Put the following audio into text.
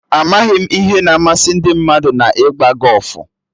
Amaghị m ihe na-amasị ndị mmadụ na-ịgba gọfụ